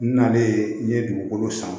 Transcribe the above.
N nalen n ye dugukolo san